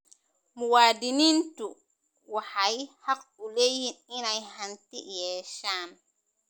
Muwaadiniintu waxay xaq u leeyihiin inay hanti yeeshaan.